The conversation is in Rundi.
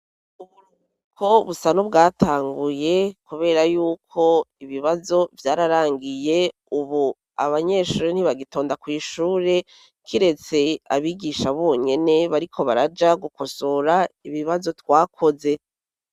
Uburuguko busa nubwatanguye, kubera yuko ibibazo vyararangiye, ubu abanyeshuro ntibagitonda kw'ishure kiretse abigisha bonyene bariko baraja gukosora ibibazo twakoze.